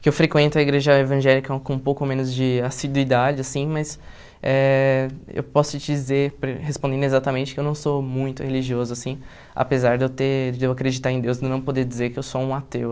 que eu frequento a igreja evangélica com um pouco menos de assiduidade, assim mas eh eu posso te dizer, respondendo exatamente, que eu não sou muito religioso assim, apesar de eu ter de eu acreditar em Deus e não poder dizer que eu sou um ateu.